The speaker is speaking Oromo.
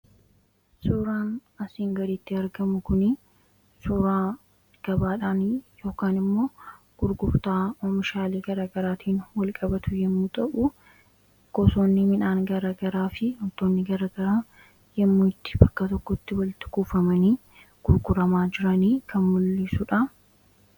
suuraan asiin gaditti argamu kun suuraa gabaadhaan yk immoo gurgurtaa omishaalee gara garaatiin wal-qabatu yommuu ta'uu gosoonni minhaan gara garaa fi huntoonni garagaraa yommuitti bakka tokkotti waliti kuufamanii gurguramaa jiranii kan mul'isuudha